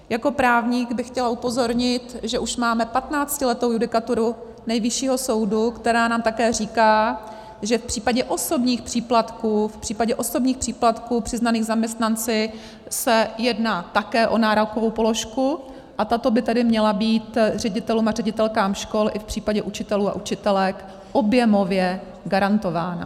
Jako právník bych chtěla upozornit, že už máme patnáctiletou judikaturu Nejvyššího soudu, která nám také říká, že v případě osobních příplatků přiznaných zaměstnanci se jedná také o nárokovou položku, a tato by tedy měla být ředitelům a ředitelkám škol i v případě učitelů a učitelek objemově garantována.